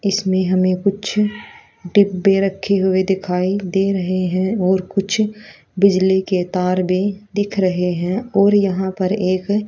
इसमें हमें कुछ डब्बे रखे हुए दिखाई दे रहे हैं और कुछ बिजली के तार भी दिख रहे हैं और यहां पर एक--